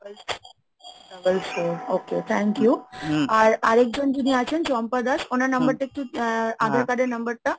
okay thank you আর আর একজন যিনি আছেন চম্পা দাস ওনার number টা একটু আধার card এর number টা,